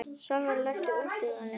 Salvar, læstu útidyrunum.